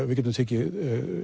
við getum tekið